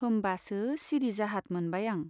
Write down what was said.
होम्बासो सिरि जाहाथ मोनबाय आं।